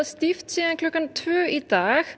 stíft síðan klukkan tvö í dag